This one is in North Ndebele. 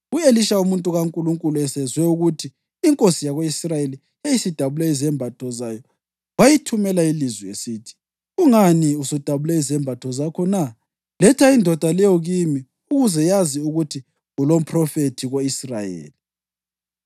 U-Elisha umuntu kaNkulunkulu esezwe ukuthi inkosi yako-Israyeli yayisidabule izembatho zayo, wayithumela ilizwi esithi, “Kungani usudabule izembatho zakho na? Letha indoda leyo kimi ukuze yazi ukuthi kulomphrofethi ko-Israyeli.”